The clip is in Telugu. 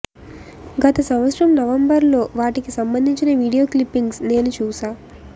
గత సంవత్సరం నవంబర్లో వాటికి సంబంధించిన వీడియో క్లిప్పింగ్స్ నేను చూశా